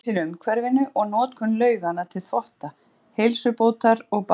Hann lýsir umhverfinu og notkun lauganna til þvotta, heilsubótar og baða.